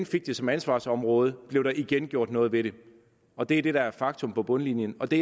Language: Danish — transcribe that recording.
fik det som ansvarsområde blev der igen gjort noget ved det og det er det der er faktum på bundlinjen og det